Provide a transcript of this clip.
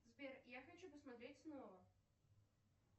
сбер я хочу посмотреть снова